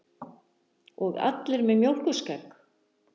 Og allir með mjólkurskegg.